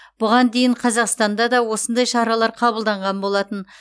бұған дейін қазақстанда да осындай шаралар қабылданған болатын